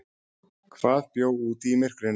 Hvað bjó úti í myrkrinu?